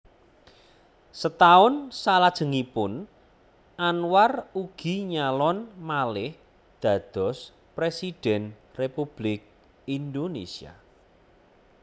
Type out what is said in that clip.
Setaun salajengipun Anwar ugi nyalon malih dados Presiden Republik Indonesia